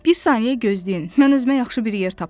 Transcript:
Bir saniyə gözləyin, mən özümə yaxşı bir yer tapım.